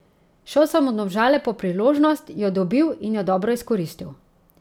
Šel sem v Domžale po priložnost, jo dobil in jo dobro izkoristil.